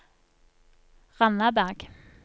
Randaberg